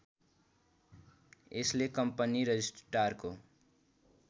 यसले कम्पनी रजिष्ट्रारको